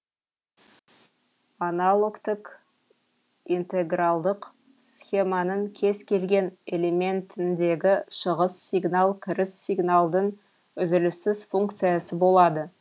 аналогтік интегралдық схеманың кез келген элементіндегі шығыс сигнал кіріс сигналдың үзіліссіз функциясы болады